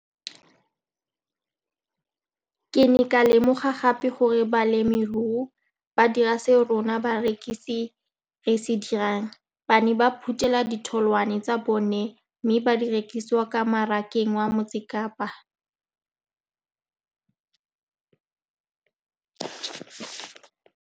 Ke ne ka lemoga gape gore balemirui ba dira seo rona barekisi re se dirang, ba ne ba phuthela ditholwana tsa bona mme ba di rekisa kwa marakeng wa Motsekapa.